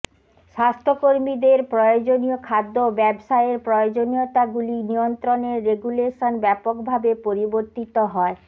স্বাস্থ্য কর্মীদের প্রয়োজনীয় খাদ্য ব্যবসায়ের প্রয়োজনীয়তাগুলি নিয়ন্ত্রনের রেগুলেশন ব্যাপকভাবে পরিবর্তিত হয়